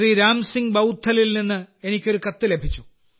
രാം സിംഗ് ബൌദ്ധ്ലിൽ നിന്ന് എനിക്ക് ഒരു കത്ത് ലഭിച്ചു